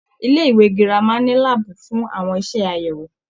Ilé-ìwé gírámà ní láàbù fún àwọn iṣẹ àyẹwò.